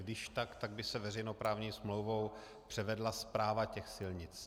Když tak, tak by se veřejnoprávní smlouvou převedla správa těch silnic.